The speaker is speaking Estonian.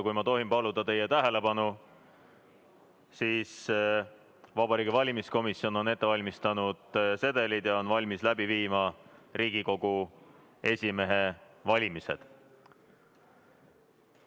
Kui ma tohin paluda teie tähelepanu, siis Vabariigi Valimiskomisjon on ette valmistanud sedelid ja on valmis läbi viima Riigikogu esimehe valimise.